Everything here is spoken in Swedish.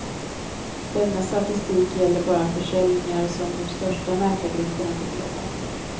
Denna statistik gäller bara försäljningar som de största mäklargrupperna förmedlat.